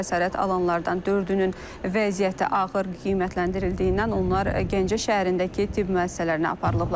Xəsarət alanlardan dördünün vəziyyəti ağır qiymətləndirildiyindən onlar Gəncə şəhərindəki tibb müəssisələrinə aparılıblar.